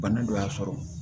Bana dɔ y'a sɔrɔ